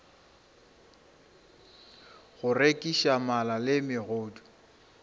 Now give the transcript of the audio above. go rekiša mala le megodu